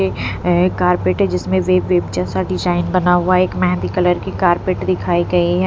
ए carpet है जिसमें wave wave जैसा डिजाइन बना हुआ है एक मेहंदी कलर की कारपेट दिखाई गई है।